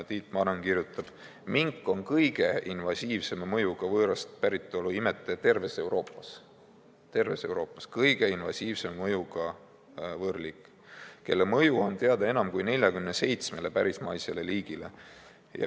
Tiit Maran kirjutab: "Mink on kõige invasiivsema mõjuga võõrast päritolu imetaja terves Euroopas, kelle mõju on teada enam kui 47 pärismaisele liigile.